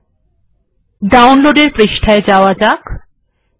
এবার ডাউনলোড এর পৃষ্ঠায় যাওয়া যাক